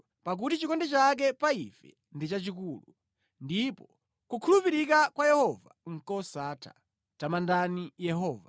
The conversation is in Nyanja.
Pakuti chikondi chake pa ife ndi chachikulu, ndipo kukhulupirika kwa Yehova nʼkosatha. Tamandani Yehova.